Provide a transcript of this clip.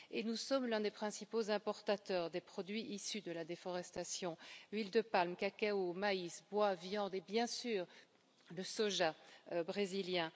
Et nous sommes l'un des principaux importateurs des produits issus de la déforestation huile de palme, cacao, maïs, bois, viande et bien sûr le soja brésilien.